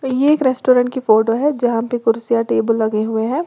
यह एक रेस्टोरेंट की फोटो है जहां पे कुर्सियां टेबल लगे हुए हैं।